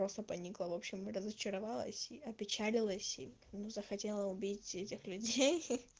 просто поникла в общем разочаровалась опечалилась и ну захотела убить этих людей